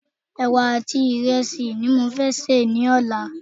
Ẹ̀wà àti ìrẹsì ni mo fé sè ní ọ̀la